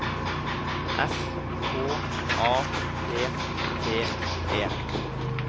S K A P T E